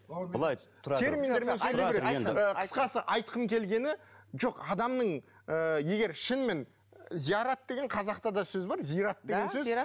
былай тұрады терминдермен сөйлеу керек қысқасы айтқым келгені жоқ адамның ы егер шынымен зиярат деген қазақта да сөз бар зират деген сөз